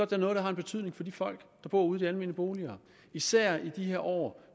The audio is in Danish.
da noget der har en betydning for de folk der bor ude i de almene boliger især i disse år